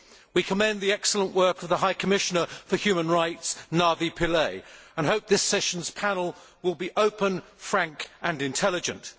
We commend the excellent work of the High Commissioner for Human Rights, Navi Pillay, and hope this session's panel will be open, frank and intelligent.